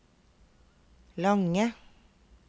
lange